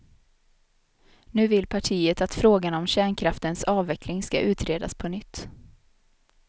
Nu vill partiet att frågan om kärnkraftens avveckling ska utredas på nytt.